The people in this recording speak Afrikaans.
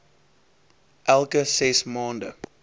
elke ses maande